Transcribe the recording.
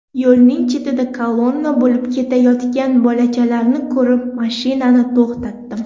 Yo‘lning chetida kolonna bo‘lib ketayotgan bolachalarni ko‘rib, mashinani to‘xtatdim.